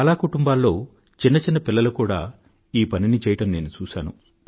చాలా కుటుంబాల్లో చిన్న చిన్న పిల్లలు కూడా ఈ పనిని చెయ్యడం నేను చూశాను